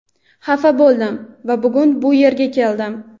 xafa bo‘ldim va bugun bu yerga keldim.